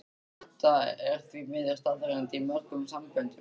Þetta er því miður staðreynd í mörgum samböndum.